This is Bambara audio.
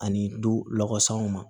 Ani dulawusaw ma